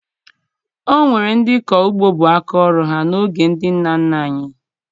O nwere ndị ịkọ ugbo bụ aka ọrụ ha n'oge ndị nna nna anyị